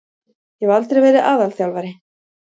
Ég hef aldrei verið aðalþjálfari.